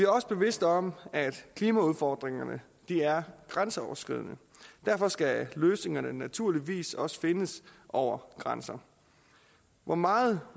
også bevidste om at klimaudfordringerne er grænseoverskridende derfor skal løsningerne naturligvis også findes over grænserne hvor meget